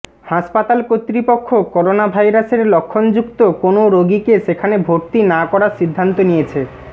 হাসপাতাল কর্তৃপক্ষ করোনাভাইরাসের লক্ষণযুক্ত কোনও রোগীকে সেখানে ভর্তি না করার সিদ্ধান্ত নিয়েছে